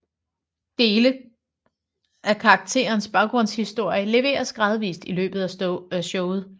Dele af karakterens baggrundshistorie leveres gradvist i løbet af showet